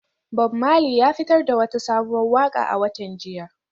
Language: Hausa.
Bob Marley ya fitar da wata sabuwar waka a watan jiya.